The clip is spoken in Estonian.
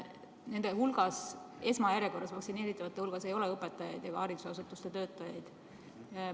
Nende hulgas, esmajärjekorras vaktsineeritavate hulgas, ei ole õpetajaid ega haridusasutuste töötajaid.